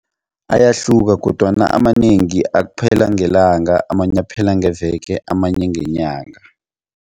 Ayahluka kodwana amanengi aphela ngelanga amanye aphela ngeveke amanye ngenyanga.